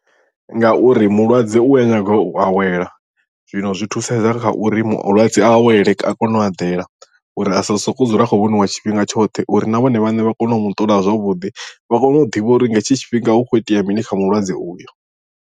Ngauri mulwadze u a nyaga u awela zwino zwi thusedza kha uri mulwadze a awele a kone u eḓela uri a sa sokou dzula a khou vhoniwa tshifhinga tshoṱhe uri na vhone vhaṋe vha kone u mu ṱola zwavhuḓi vha kone u ḓivha uri nga hetshi tshifhinga hu kho itea mini kha mulwadze uyo.